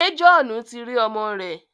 Ṣé Johnu ti rí ọmọ rẹ̀?